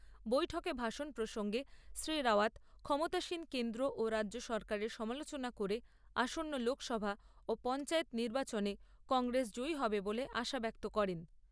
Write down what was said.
বৈঠকে ভাষণ প্রসঙ্গে শ্রী রাওয়াত ক্ষমতাসীন কেন্দ্র ও রাজ্য সরকারের সমালোচনা করে আসন্ন লোকসভা ও পঞ্চায়েত নির্বাচনে কংগ্রেস জয়ী হবে বলে আশা ব্যক্ত করেন।